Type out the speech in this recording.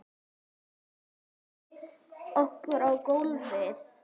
Hendum okkur á gólfið.